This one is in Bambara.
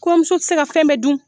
Kɔɲɔmuso ti se ka fɛn bɛ dun.